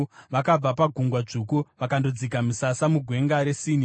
Vakabva paGungwa Dzvuku vakandodzika misasa muGwenga reSini.